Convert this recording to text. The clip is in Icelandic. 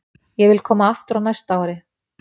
Ég vil koma aftur á næsta ári.